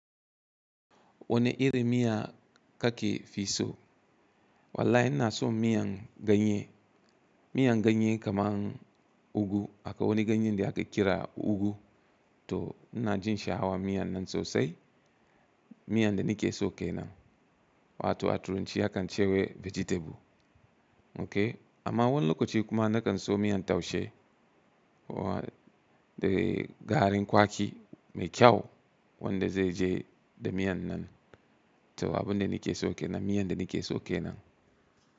Wane irin miya ka ke fi so? Wallahi ina son miyan ganye, miyan ganye kaman ugu akwai wani ganye da ake kira ugu. To ina jin sha'awan miyan nan sosai. Miyan da ni ke so kenan. Wato a turanci a kan ce wa vegetable. Okay. Amma wannan lokacin kuma na kan so miyan taushe. Wannan da garin kwaki mai kyau wadda zai je da miyan nan. To abin da ni ke so kenan miyan da ni ke so kenan.